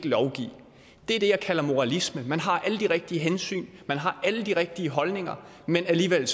lovgive det er det jeg kalder moralisme man har alle de rigtige hensyn man har alle de rigtige holdninger men alligevel